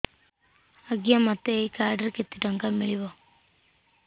ଆଜ୍ଞା ଏଇ କାର୍ଡ ରେ ମୋତେ କେତେ ଟଙ୍କା ମିଳିବ